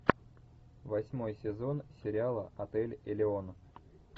восьмой сезон сериала отель элеон